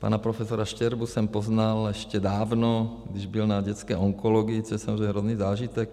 Pana profesora Štěrbu jsem poznal ještě dávno, když byl na dětské onkologii, což je samozřejmě hrozný zážitek.